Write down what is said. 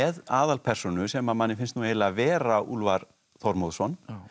aðalpersónu sem manni finnst eiginlega Vera Úlfar Þormóðsson